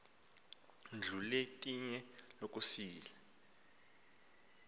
ndlu yelitye lokusila